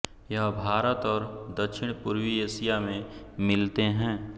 यह भारत और दक्षिणपूर्वी एशिया में मिलते हैं